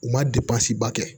U ma ba kɛ